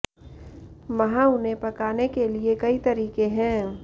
वहाँ उन्हें पकाने के लिए कई तरीके हैं